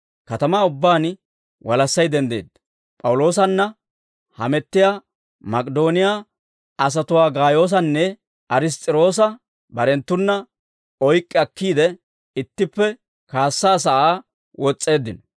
Katamaa ubbaan walassay denddeedda; P'awuloosanna hamettiyaa Mak'idooniyaa asatuwaa Gaayoosanne Ariss's'irokoosa barenttuna oyk'k'i akkiide, ittippe kaassaa sa'aa wos's'eeddino.